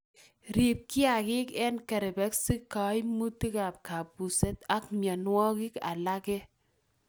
Riib kiagik eng kerebesik, kaimutikab kabuset ak mienwokik alage